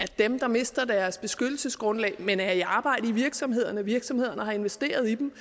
dem der mister deres beskyttelsesgrundlag men er i arbejde i virksomhederne for virksomhederne har investeret i dem